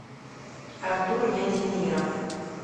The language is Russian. артур яндемиров